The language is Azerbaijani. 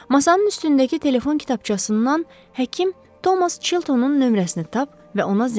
Masanın üstündəki telefon kitabçasından həkim Thomas Chiltonun nömrəsini tap və ona zəng et.